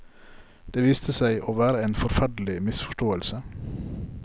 Det viste seg å være en forferdelig misforståelse.